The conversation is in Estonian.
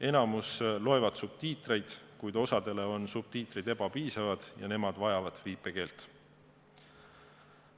Enamik loeb subtiitreid, kuid osale on subtiitrid ebapiisavad ja nemad vajavad viipekeelt.